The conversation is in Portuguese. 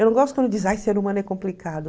Eu não gosto quando diz ai ser humano é complicado.